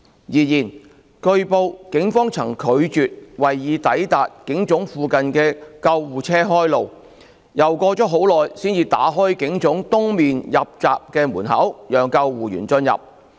然而，據報警方曾拒絕為已抵達警總附近的救護車開路，又過了很久才打開警總東面入口閘門讓救護員進入。